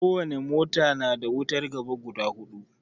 Ko wani mota na da wutan gaba guda hudu